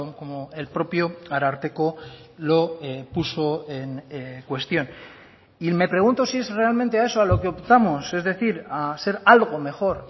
como el propio ararteko lo puso en cuestión y me pregunto si es realmente a eso a lo que optamos es decir a ser algo mejor